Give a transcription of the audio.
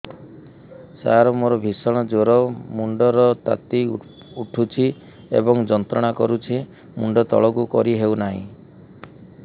ସାର ମୋର ଭୀଷଣ ଜ୍ଵର ମୁଣ୍ଡ ର ତାତି ଉଠୁଛି ଏବଂ ଯନ୍ତ୍ରଣା କରୁଛି ମୁଣ୍ଡ ତଳକୁ କରି ହେଉନାହିଁ